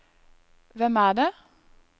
hvem er det